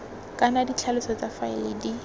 kana ditlhaloso tsa faele di